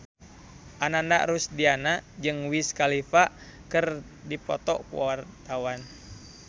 Ananda Rusdiana jeung Wiz Khalifa keur dipoto ku wartawan